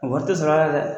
Wa tɛ sɔrɔ a la dɛ